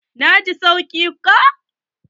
Na ji sauki ko.